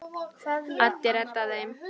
Addi reddaði þeim.